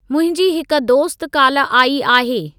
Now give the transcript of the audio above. मुंहिंजी हिकु दोस्त काल्ह आई आहे।